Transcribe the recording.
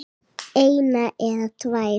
eina eða tvær.